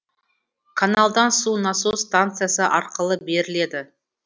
каналдан су насос станциясы арқылы беріледі